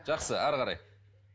жақсы әрі қарай